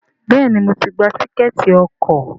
Béèni mo tí gbà Tíkẹ́ẹ̀tì ọkọ̀.